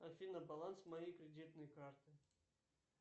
афина баланс моей кредитной карты